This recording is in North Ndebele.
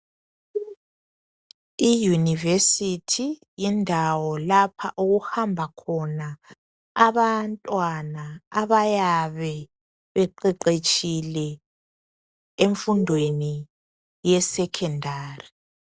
Iyunivesithi yindawo lapha okuhamba khona abantwana abayabe beqeqetshile emfundweni ye sekhondari.